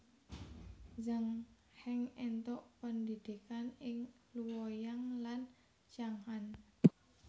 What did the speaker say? Zhang Heng éntuk pendhidhikan ing Luoyang lan Chang an